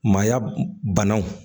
Maaya banaw